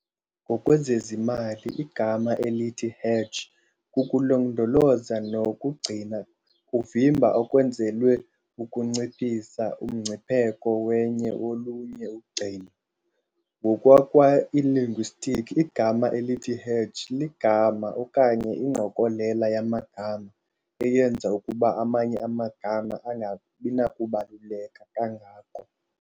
Ngokwezezimali, igama elithi hedge kukulondoloza nokugcina kuvimba okwenzelwe ukunciphisa umngcipheko wenye olunye ugcino. Nkokwakwa-linguistics igama elithi hedge ligama okanye ingqokolela yamagama eyenza ukuba amanye amagama angabinakubaluleka kangako.